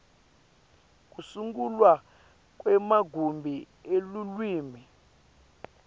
kusungulwa kwemagumbi elulwimi